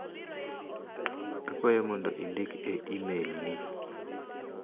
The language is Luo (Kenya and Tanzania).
Akwayo mondo indik e imel ni.